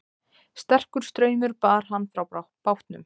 Sterkur straumur bar hann frá bátnum